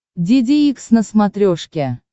деде икс на смотрешке